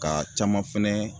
Ka caman fɛnɛ